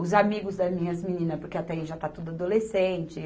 os amigos das minhas meninas, porque até aí já está tudo adolescente.